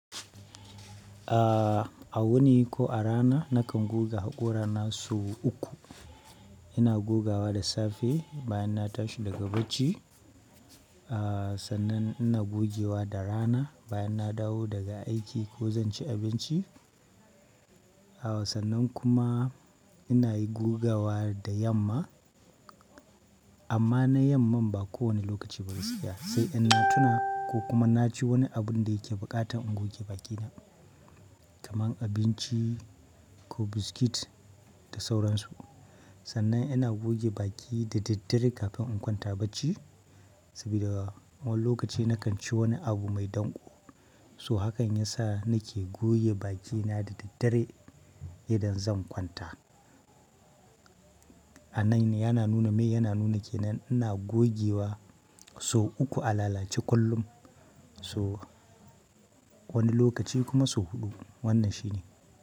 A, a wuni ko a rana nakan goga haƙora na sau uku. Ina gogawa da safe bayan na tashi daga bacci. A sannan ina gogewa da rana bayan na dawo daga aiki ko zan ci abinci. A sannan kuma ina yi gogawa da yamma. Amma na yamman ba kowane lokaci ba gaskiya sai in na tuna ko kuma na ci wani abun da yake buƙatan in goge bakina. Kaman abinci ko biscuit da sauransu. Sannan ina goge baki da daddare kafin in kwanta bacci. Saboda wani lokaci nakan ci wani abu mai danƙo. So hakan yasa nake goge bakina da daddare idan zan kwanta. A nan ne yana nuna mai yana nuna kenan ina gogewa sau uku a lalace kullum. So wani lokaci kuma sau huɗu wannan shine.